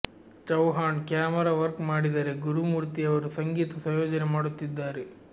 Chauhan camera work ಮಾಡಿದರೆ ಗುರುಮೂರ್ತಿ ಅವರು ಸಂಗೀತ ಸಂಯೋಜನೆ ಮಾಡುತ್ತಿದ್ದಾರೆ